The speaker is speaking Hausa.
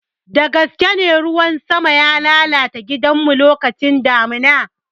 Dagaskene, ruwan sama ya lalata gidanmu lokacin damuna.